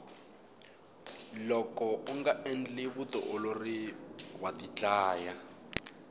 loko unga endli vutiolori wa tidlaya